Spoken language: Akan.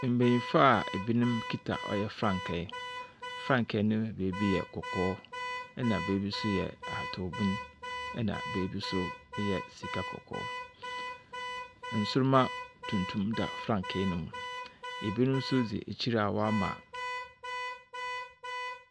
Mbanyinfoa ibinom kita ɔyɛ frankae frankae no ne beebi yɛ kɔkɔɔ na beebi so ahataw bun ɛna beebi so eyɛ sika kɔkɔɔ nsoroma tuntum da frankae nomu ibinom so dzi ekyir a wɔama.